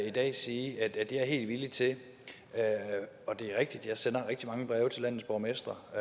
i dag sige at det er jeg helt villig til det er rigtigt at jeg sender rigtig mange breve til landets borgmestre og